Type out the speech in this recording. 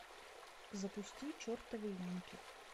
запусти чертовы янки